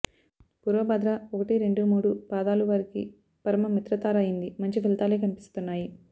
పూర్వాభాద్ర ఒకటి రెండు మూడు పాదాలు వారికి పరమ మిత్రతార అయింది మంచి ఫలితాలే కనిపిస్తున్నాయి